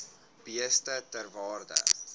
beeste ter waarde